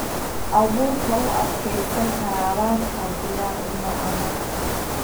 Abuurka u adkeysan kara abaarta diyaar uma aha.